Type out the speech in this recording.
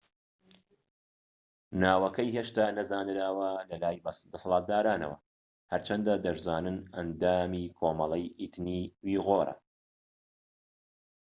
ناوەکەی هێشتا نەزانراوە بەلای دەسەڵاتدارانەوە هەرچەندە دەشزانن ئەندامی کۆمەڵەی ئیتنی ئویغورە